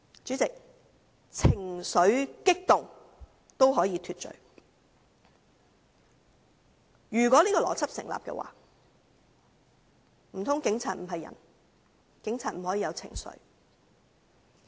主席，"情緒激動"可以是脫罪的理由，若這邏輯成立，難道警員不是人？